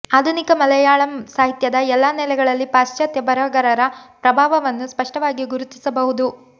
ಆಧುನಿಕ ಮಲಯಾಳಂ ಸಾಹಿತ್ಯದ ಎಲ್ಲಾ ನೆಲೆಗಳಲ್ಲಿ ಪಾಶ್ಚಾತ್ಯ ಬರಹಗಾರರ ಪ್ರಭಾವವನ್ನು ಸ್ಪಷ್ಟವಾಗಿ ಗುರುತಿಸಬಹುದು